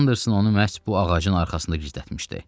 Anderson onu məhz bu ağacın arxasında gizlətmişdi.